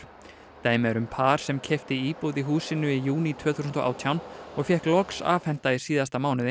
dæmi er um par sem keypti íbúð í húsinu í júní tvö þúsund og átján og fékk loks afhenta í síðasta mánuði